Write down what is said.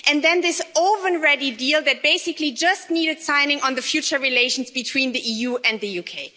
and then this oven ready deal that basically just needed signing on the future relations between the EU and the UK.